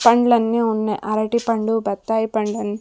పండ్లన్నీ ఉన్నయ్ అరటిపండు బత్తాయి పండు అన్--